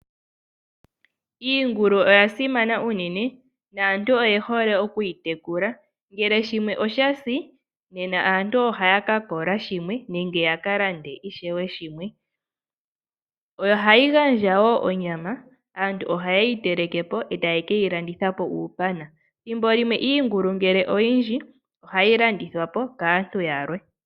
Iingulu oya simana unene naantu oyehole okuyi tekula ngelw shimwe oshasi naantu ohaya ka kola shimwe nenge ya kalande ishewe shimwe . Ohayi gandja woo onyama . Aantu ohayeyi telekepo e taye keyilandithapo uupana ,ethimbolimwe iingulu ngele oyindji ohayi landithwapo kaantu yalwe.